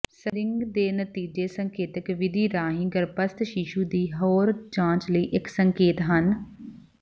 screening ਦੇ ਨਤੀਜੇ ਸੰਕੇਤਕ ਵਿਧੀ ਰਾਹੀਂ ਗਰੱਭਸਥ ਸ਼ੀਸ਼ੂ ਦੀ ਹੋਰ ਜਾਂਚ ਲਈ ਇੱਕ ਸੰਕੇਤ ਹਨ